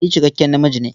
Ni cikakken namiji ne.